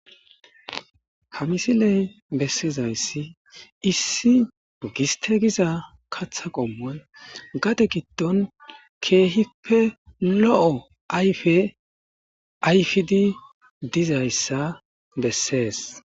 Ha misiley bessizayssi issi giste giza katha qommoy gade giddon keehippe lo'o ayfe ayfidi dizayssa bessees